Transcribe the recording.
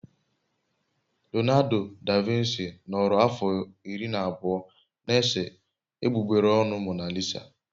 Leonardo da Vinci nọrọ afọ iri na abụọ na-ese egbugbere ọnụ Mona Lisa.